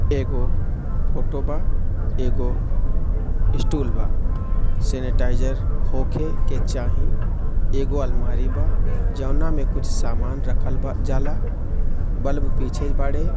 एगो फोटो बा एगो इस्टूल बा सेनेटाइजर होखे के चाही एगो अलमारी बा जौना मे कुछ समान रखन बा जाला बल्ब पीछे बाड़े--